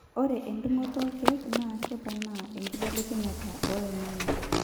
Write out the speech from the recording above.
ore endung'oto olkeek naa keponaa enkibelekenyata oloing'ang'e